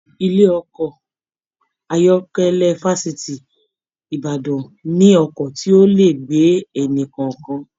Ilé ọkọ ayọkẹlẹ Fafiti Ìbàdàn mí ọkọ tí o lè gbé ẹni-kọọkan.